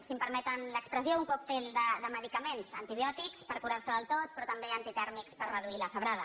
si em permeten l’expressió un còctel de medicaments antibiòtics per curar se del tot però també antitèrmics per reduir la febrada